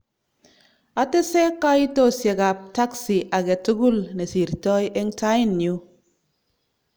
"Atese kaitosiek ab taxi age tugul nesirtoi eng tainyu